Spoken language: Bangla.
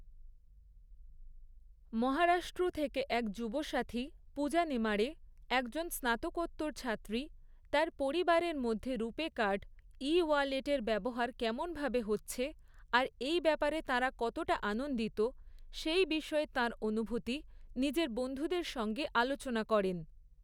মহারাষ্ট্র থেকে এক যুবসাথী, পূজা নেমাঢ়ে, একজন স্নাতকোত্তর ছাত্রী, তার পরিবারের মধ্যে রূপে কার্ড, ই ওয়ালেটের ব্যবহার কেমন ভাবে হচ্ছে আর এই ব্যাপারে তাঁরা কতটা আনন্দিত, সেই বিষয়ে তাঁর অনুভূতি নিজের বন্ধুদের সঙ্গে আলোচনা করেন।